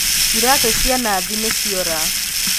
Iratū cia Nathi nīciora